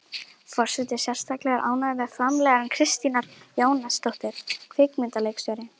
Forseti er sérstaklega ánægð með framlag Kristínar Jóhannesdóttur kvikmyndaleikstjóra.